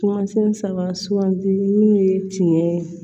Kumasen saba suganti minnu ye tiɲɛ ye